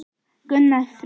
Gunnar Freyr.